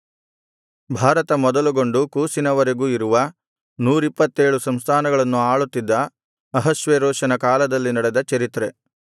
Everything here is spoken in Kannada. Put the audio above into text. ಭಾರತ ಮೊದಲುಗೊಂಡು ಕೂಷಿನ ವರೆಗೂ ಇರುವ ನೂರಿಪ್ಪತ್ತೇಳು ಸಂಸ್ಥಾನಗಳನ್ನು ಆಳುತ್ತಿದ್ದ ಅಹಷ್ವೇರೋಷನ ಕಾಲದಲ್ಲಿ ನಡೆದ ಚರಿತ್ರೆ